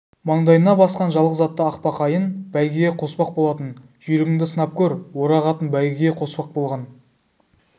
маңдайына басқан жалғыз аты ақбақайын бәйгеге қоспақ болатын жүйрігіңді сынап көр орақ атын бәйгеге қоспақ болған